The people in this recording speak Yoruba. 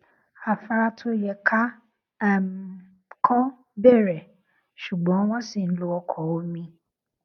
afára tó yẹ ká um kọ bẹrẹ ṣùgbọn wọn ṣi ń lo ọkọ omi